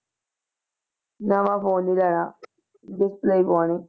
ਨਵਾਂ phone ਨੀ ਲੈਣਾ display ਹੀ ਪਵਾਉਣੀ